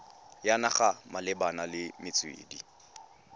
ya naga malebana le metswedi